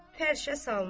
Hər şey salınıb.